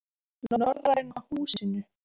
Norræna Húsinu